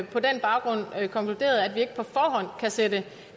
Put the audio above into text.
på den baggrund har vi konkluderet at vi ikke på forhånd kan sætte